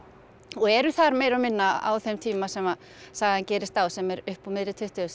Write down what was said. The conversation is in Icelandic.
og eru þar meira og minna á þeim tíma sem sagan gerist á sem er upp úr miðri tuttugustu